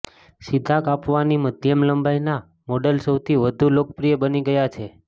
સીધા કાપવાની મધ્યમ લંબાઈના મોડલ સૌથી વધુ લોકપ્રિય બની ગયા છે